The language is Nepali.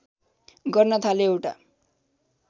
गर्न थाले एउटा